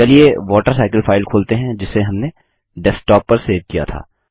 चलिए water cycle file खोलते हैं जिसे हमने डेस्कटॉप पर सेव किया था